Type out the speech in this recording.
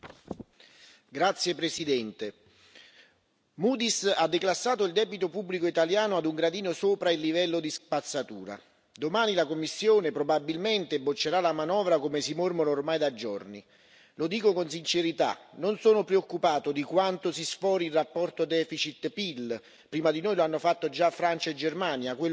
Signor Presidente, onorevoli colleghi, Moody's ha declassato il debito pubblico italiano a un gradino sopra il livello di spazzatura. Domani la Commissione probabilmente boccerà la manovra, come si mormora ormai da giorni. Lo dico con sincerità non sono preoccupato di quanto si sfori il rapporto deficit PIL, prima di noi lo hanno fatto già Francia e Germania.